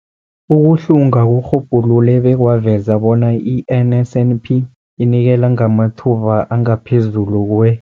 Ukuhlunga kurhubhulule bekwaveza bona i-NSNP inikela ngamathuba angaphezulu kwe-